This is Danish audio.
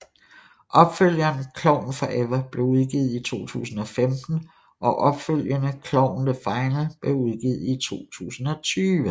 Opfølgeren Klovn Forever blev udgivet i 2015 og opfølgende Klovn the Final blev udgivet i 2020